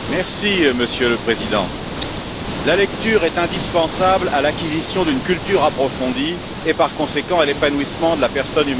Monsieur le Président, la lecture est indispensable à l'acquisition d'une culture approfondie et, par conséquent, à l'épanouissement de la personne humaine.